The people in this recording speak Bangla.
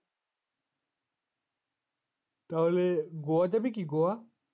তাহলে গোয়া যাবে কি গোয়া?